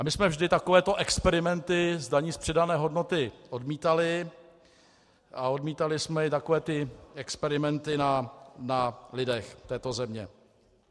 A my jsme vždy takovéto experimenty s daní z přidané hodnoty odmítali, a odmítali jsme i takové ty experimenty na lidech této země.